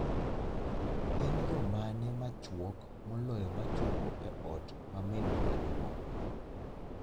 En yo mane machuok moloyo ma chopo e ot ma minwa maduong'